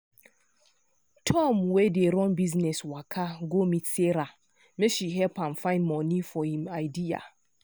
tom wey dey run business waka go meet sarah make she help am find money for him idea.